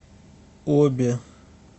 оби